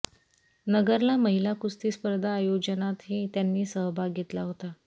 नगरला महिला कुस्ती स्पर्धा आयोजनातही त्यांनी सहभाग घेतला होता